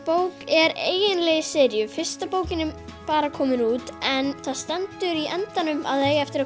bók er eiginlega í seríu fyrsta bókin er bara komin út en það stendur í endanum að það eigi eftir að